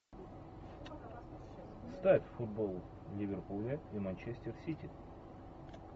ставь футбол ливерпуля и манчестер сити